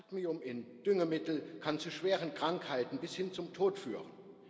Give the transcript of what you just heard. Cadmium in Düngemittel kann zu schweren Krankheiten bis hin zum Tod führen.